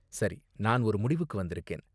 சரி, நான் ஒரு முடிவுக்கு வந்திருக்கேன்.